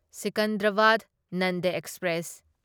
Secunderabad Nanded express